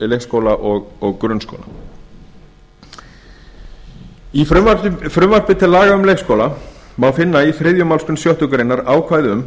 leikskóla og grunnskóla í frumvarpi til laga um leikskóla má finna í þriðju málsgrein sjöttu grein ákvæði um